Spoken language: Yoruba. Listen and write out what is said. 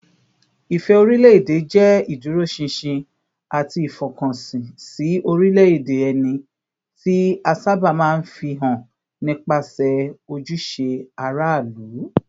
Ìfẹ́ orílẹ̀-èdè jẹ́ ìdúróṣinṣin àti ìfọkànsìn sí orílẹ̀-èdè ẹni, tí a sábà máa ń fi hàn nípasẹ̀ ojúṣe aráàlú